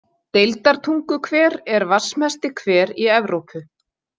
Deildartunguhver er vatnsmesti hver í Evrópu.